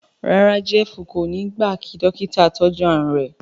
ràrá Jeff kò ní gba jé kí Dọ́kítà tọjú àrùn rẹ.